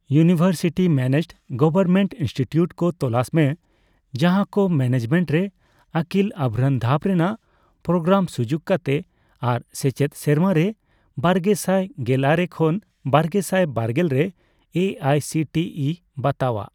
University managed government institute ᱠᱚ ᱛᱚᱞᱟᱥ ᱢᱮ ᱡᱟᱦᱟᱠᱚ ᱢᱮᱱᱮᱡᱢᱮᱱᱴ ᱨᱮ ᱟᱹᱠᱤᱞ ᱟᱵᱷᱨᱟᱱ ᱫᱷᱟᱯ ᱨᱮᱱᱟᱜ ᱯᱨᱳᱜᱨᱟᱢ ᱥᱩᱡᱩᱠ ᱠᱟᱛᱮ ᱟᱨ ᱥᱮᱪᱮᱫ ᱥᱮᱨᱢᱟᱨᱮ ᱵᱟᱨᱜᱮᱥᱟᱭ ᱜᱮᱞᱟᱨᱮ ᱠᱷᱚᱱ ᱵᱟᱨᱜᱮᱥᱟᱭ ᱵᱟᱨᱜᱮᱞ ᱨᱮ A I C T E ᱵᱟᱛᱟᱣᱟᱜ ᱾